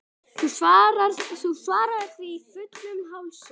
Þú svaraðir því fullum hálsi.